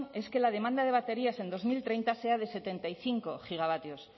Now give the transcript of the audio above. es que la demanda de baterías en dos mil treinta sea de setenta y cinco gigavatios